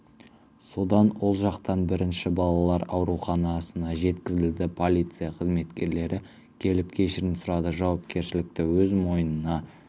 содан ол жақтан бірінші балалар ауруханасына жеткізілді полиция қызметкерлері келіп кешірім сұрады жауапкершілікті өз мойнына